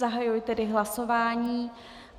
Zahajuji tedy hlasování.